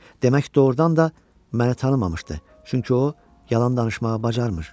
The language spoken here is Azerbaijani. Demək, doğurdan da məni tanımamışdı, çünki o yalan danışmağı bacarmır.